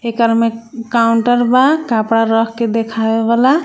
भीतर काउंटर बा कपड़ा रख के देखावे वाला.